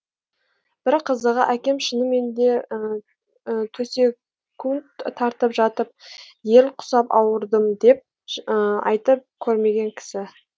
бір қызығы әкем шыныменде төсекунд тартып жатып ел құсап ауырдым деп айтып көрмеген кісі